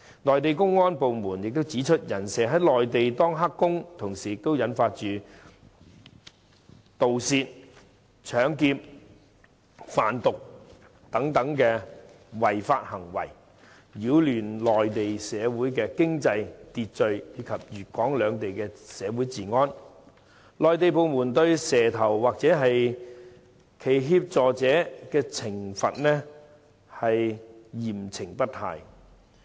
內地公安部門亦指出，"人蛇"在內地當"黑工"，同時也引發盜竊、搶劫、販毒等違法行為，擾亂內地社會經濟秩序及粵港兩地社會治安，內地部門對"蛇頭"或其協助者嚴懲不貸。